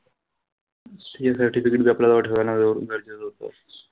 ते certificate आपल्या जवळ ठेवणं गरजेचं होतं.